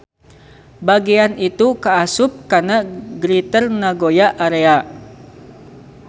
Bagean itu kaasup kana Greater Nagoya Area.